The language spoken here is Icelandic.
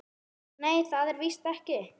Nei, það er víst ekki.